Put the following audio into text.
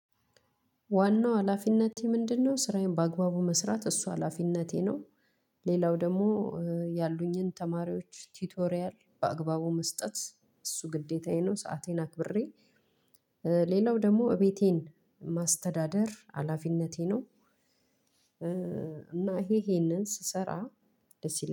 ዋናው ሀላፊነቴ ምንድነው? ስራዬን በአግባቡ መስራት እሱ ሀላፊነቴ ነው። ሌላው ደግሞ ያሉኝን ተማሪዎች ቲቶሪያል በአግባቡ መስጠት እሱ ግዴታዬ ነው። ሰአቴን አክብሬ። ሌላው ደሞ ቤቴን ማስተዳደር ሀላፊነቴ ነው። እና ይሄ ይሄንን ስሰራ ደስ ይለኛል